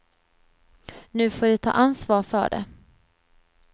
Nu får de ta ansvar för det.